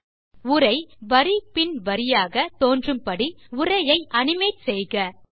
animate the text so that the text appears line by line